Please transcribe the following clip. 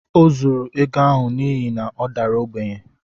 Ọ zuuru ego ahụ n’ihi na ọ dara ogbenye